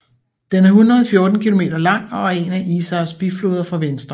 Den er 114 km lang og er en af Isars bifloder fra venstre